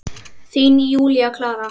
Þín, Júlía Klara.